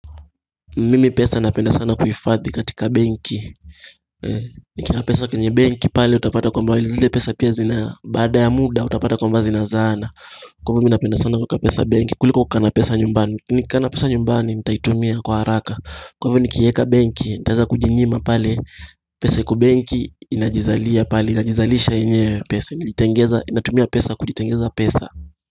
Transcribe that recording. Mimi pesa napenda sana kuifadhi katika benki Nikiwa pesa kwenye benki pale utapata kwamba zile pesa pia zina baada ya muda utapata kwamba zinazaana Kwa hivyo mimi napenda sana kuwepesa benki kuliko kukaana pesa nyumbani kukana pesa nyumbani nitaitumia kwa haraka Kwa hivyo nikieka benki nitaweza kujinyima pale pesa iko benki inajizalia pale inajizalisha yenyewe pesa Inatumia pesa kujitengeza pesa.